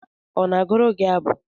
Ọ na gụrụ gị abụ?